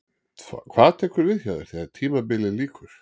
Hvað tekur við hjá þér þegar tímabilið lýkur?